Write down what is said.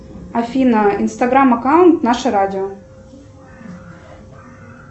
афина инстаграм аккаунт наше радио